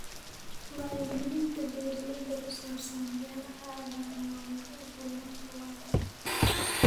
Wacyigelinta beeraleyda ku saabsan beeraha cagaaran waa muhiim horumarka waara.